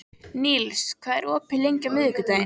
Níls, hvað er opið lengi á miðvikudaginn?